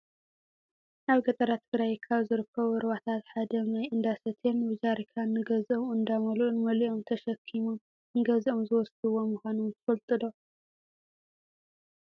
ኣብ ገጠራት ትግራይ ካብ ዝርከቡ ሩባታት ሓደ ማይ እነዳሰተየን ብጀሪካን ንገዘኦም እንዳመልኡን መሊኦም ተሸኪሞም ንገዘኦም ዝወስድዎ ምኳኖም ትፈልጡ ዶ ?